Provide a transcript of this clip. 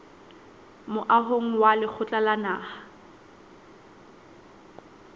moahong wa lekgotla la naha